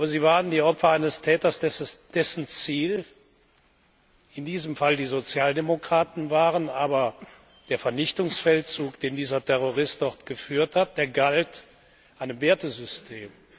Sie waren die Opfer eines Täters, dessen Ziel in diesem Fall die Sozialdemokraten waren, aber der Vernichtungsfeldzug, den dieser Terrorist dort geführt hat, der galt einem Wertesystem.